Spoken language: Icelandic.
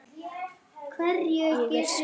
Ég er Svenni.